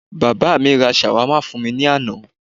Bàbá mi ra Shawarma fún mi ní àná